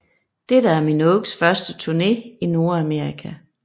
Dette er Minogues første turné i Nordamerika